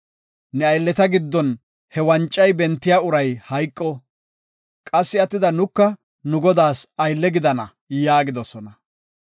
Ne aylleta giddon he wancay bentida uray hayqo. Qassi attida nuka nu godaas aylle gidana” yaagidosona.